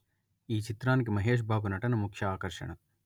ఈ చిత్రానికి మహేష్ బాబు నటన ముఖ్య ఆకర్షణ